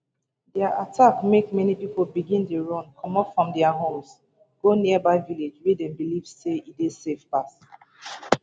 dia attacks make many pipo begin dey run comot from dia homes go nearby villages wey dem believe say e safe pass